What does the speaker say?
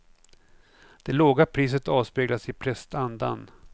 Det låga priset avspeglas i prestandan.